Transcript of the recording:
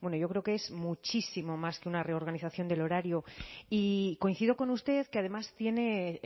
bueno yo creo que es muchísimo más que una reorganización del horario y coincido con usted que además tiene